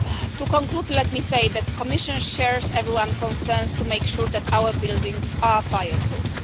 To conclude, let me say that the Commission shares everyone's concerns to ensure that our buildings are fireproof.